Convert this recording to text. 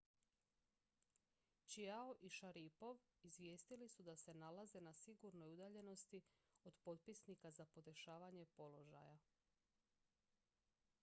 chiao i šaripov izvijestili su da se nalaze na sigurnoj udaljenosti od potisnika za podešavanje položaja